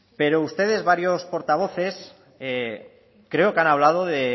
pero ustedes varios portavoces creo que han hablado de